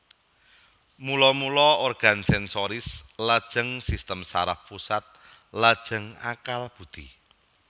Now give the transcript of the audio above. Mula mula organ sensoris lajeng sistem saraf pusat lajeng akal budhi